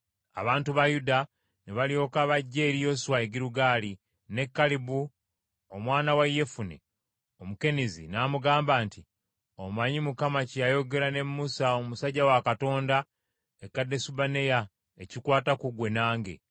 Abantu ba Yuda ne balyoka bajja eri Yoswa e Girugaali, ne Kalebu omwana wa Yefune Omukenizi n’amugamba nti, “Omanyi Mukama kye yayogera ne Musa omusajja wa Katonda e Kadesubanea ekikwata ku ggwe nange.